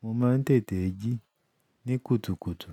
mo máa ń tètè jí ní kùtùkùtù.